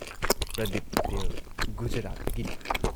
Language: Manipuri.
ꯄ꯭ꯔꯗꯤꯞ ꯄꯇꯦꯜ ꯒꯨꯖꯔꯥꯠꯇꯒꯤꯅꯤ ꯫